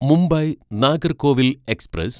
Mumbai Nagercoil express